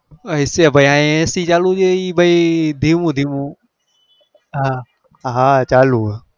અહી અહી છે ac ચાલુ છે એ ભાઈ ધીમું ધીમું હ ચાલુ હ